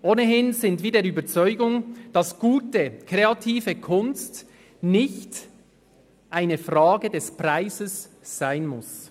Ohnehin sind wir der Überzeugung, dass gute, kreative Kunst nicht eine Frage des Preises sein muss.